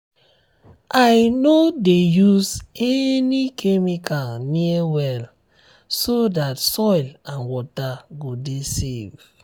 i no dey use any chemical near well so dat soil and water go dey safe.